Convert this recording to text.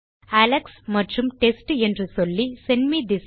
Alex மற்றும் test என்று சொல்லி செண்ட் மே திஸ்